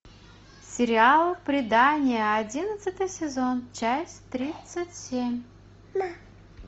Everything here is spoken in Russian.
сериал придание одиннадцатый сезон часть тридцать семь